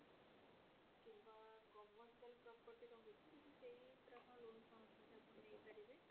କିମ୍ବା commercial property ରହୁଛି ତାହେଲେ ସେଇ ଉପରେ ଆପଣ loan ଚାହୁଁଛନ୍ତି ଆପଣ ନେଇପାରିବେ